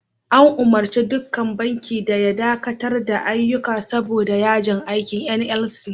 An umurci dukkan bankin da ya dakatar da ayyuka saboda yajin aikin NLC.